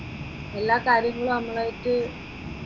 എല്ലാ കാര്യത്തിലും നമ്മളും ആയിട്ട്